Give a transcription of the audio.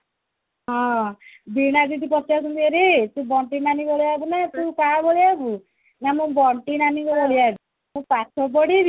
ହଁ ଦି ଜଣ ଆଜି ଟାକୁ ପଚାରି ଦେଲେ ଓରେ ତୁ ଦନ୍ତୁ ନାନି ଭଳିଆ ହବୁ ନା ତୁ କାହା ଭଳିଆ ହବୁ ନା ମୁଁ ଦନ୍ତୁ ନାନି ଭଳିଆ ହେବି ମୁଁ ପାଠ ପଢିବି